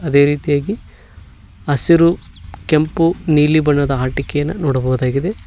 ಅದೆ ರೀತಿಯಾಗಿ ಹಸಿರು ಕೆಂಪು ನೀಲಿ ಬಣ್ಣದ ಆಟಿಕೆಯನ್ನು ನೋಡಬಹುದಾಗಿದೆ.